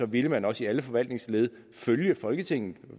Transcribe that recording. ville man også i alle forvaltningsled følge folketinget